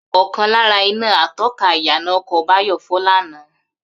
Ò̩kan lára iná ató̩ka ìyànà o̩kò̩ Báyò̩ fó̩ lánàá